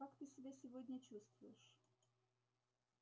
как ты себя сегодня чувствуешь